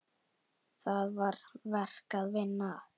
Þar var verk að vinna.